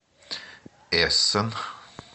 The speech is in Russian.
эссен